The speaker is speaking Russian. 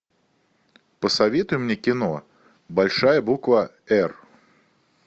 посоветуй мне кино большая буква эр